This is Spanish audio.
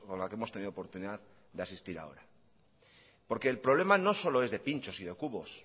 la que hemos tenido oportunidad de asistir ahora porque el problema no solo es de pinchos y de cubos